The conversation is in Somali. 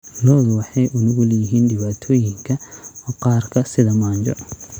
Lo'du waxay u nugul yihiin dhibaatooyinka maqaarka sida manjo.